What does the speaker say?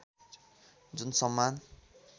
जुन सम्मान